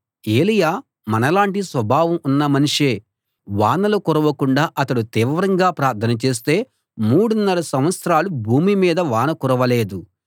ఏలీయా మనలాటి స్వభావం ఉన్న మనిషే వానలు కురవకుండా అతడు తీవ్రంగా ప్రార్థన చేస్తే మూడున్నర సంవత్సరాలు భూమి మీద వాన కురవలేదు